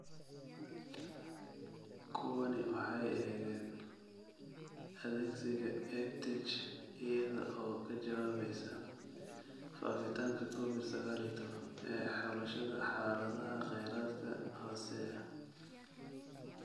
Kuwani waxay eegeen adeegsiga EdTech iyada oo ka jawaabaysa faafitaanka Covid sagaal iyo tobbaan ee xulashada xaaladaha kheyraadka hooseeya .